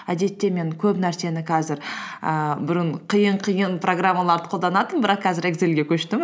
әдетте мен көп нәрсені қазір ііі бұрын қиын қиын программаларды қолданатынмын бірақ қазір экзелььге көштім